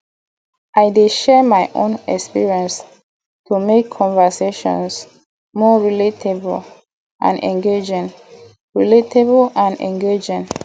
i dey share my own experiences to make conversations more relatable and engaging relatable and engaging